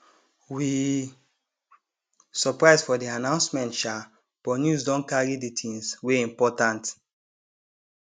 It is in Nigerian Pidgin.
we surprise for di announcement sha but news don carry di things wey important